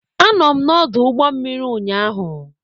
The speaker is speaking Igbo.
Anọ m n'ọdụ ụgbọ mmiri ụnyaahụ.